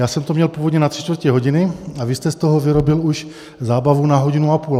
Já jsem to měl původně na tři čtvrtě hodiny a vy jste z toho vyrobil už zábavu na hodinu a půl.